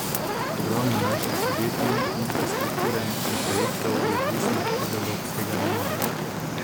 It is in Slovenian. Ogromno naših podjetij, infrastrukture in projektov je odvisnih od evropskega denarja.